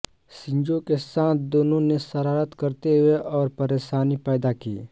Shinzo के साथ दोनों ने शरारत करते हुए और परेशानी पैदा की